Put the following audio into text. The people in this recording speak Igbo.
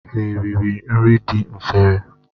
Ha eriri nri dị n'efere?